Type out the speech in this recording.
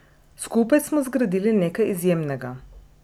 Skupaj smo zgradili nekaj izjemnega.